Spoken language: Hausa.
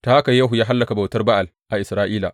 Ta haka Yehu ya hallaka butar Ba’al a Isra’ila.